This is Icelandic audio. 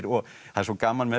það er svo gaman með þetta